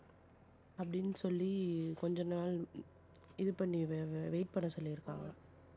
அப்படின்னு சொல்லி கொஞ்ச நாள் இது பண்ணி wa~ wait பண்ண சொல்லி இருக்காங்க.